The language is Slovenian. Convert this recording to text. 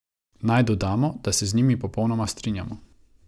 Naj dodamo, da se z njimi popolnoma strinjamo.